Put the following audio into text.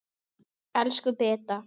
Elsku Beta.